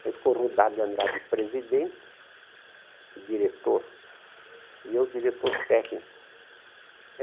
Ele ficou rodado e andado de presidente e diretor, e eu diretor técnico.